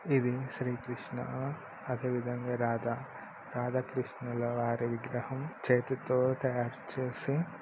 ఇది శ్రీకృష్ణ అదే విధంగా రాధ రాధాకృష్ణుల రాధ విగ్రహం.